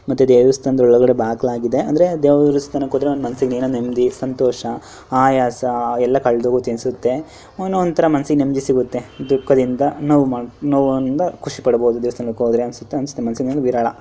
ಮತ್ತೆ ದೇವಸ್ಥಾನದ ಒಳಗಡೆ ಹೋಗೋಕೆ ಬಾಗಿಲು ಆಗಿದೆ ದೇವಸ್ಥಾನಕ್ಕೆಹೋದ್ರೆ ಒಂದು ಮನಸಿಗೆ ಏನೋ ಒಂದು ನೆಮ್ಮದಿ ಸಂತೋಷ ಆಯಾಸ ಎಲ್ಲ ಕಳೆದು ಹೋಗುತ್ತೆ ಅನ್ಸುತ್ತೆ ಏನೋ ಒಂತರ ಮನಸಿಗೆ ನೆಮ್ಮದಿ ಸಿಗುತ್ತೆ ದುಖ್ಖದಿಂದ ನೋವುನಿಂದ ಖುಷಿ ಪಡಬಹುದು ಮನಸಿಗ್ಗೆ ಒಂದು ವಿರಳ.